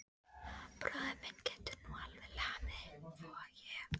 Bróðir minn getur nú alveg lamið þig, voga ég.